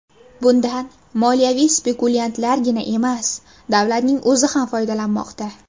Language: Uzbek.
Bundan moliyaviy spekulyantlargina emas, davlatning o‘zi ham foydalanmoqda.